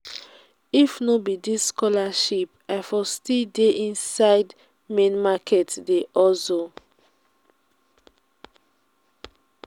if no be dis scholarship i for still dey inside main market dey hustle.